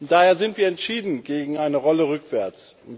Daher sind wir entschieden gegen eine Rolle rückwärts.